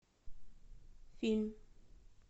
фильм